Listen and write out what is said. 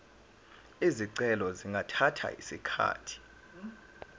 izicelo zingathatha isikhathi